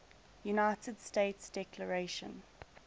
united states declaration